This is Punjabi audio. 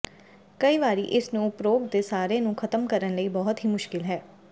ਕਈ ਵਾਰੀ ਇਸ ਨੂੰ ਉਪਰੋਕਤ ਦੇ ਸਾਰੇ ਨੂੰ ਖ਼ਤਮ ਕਰਨ ਲਈ ਬਹੁਤ ਹੀ ਮੁਸ਼ਕਲ ਹੈ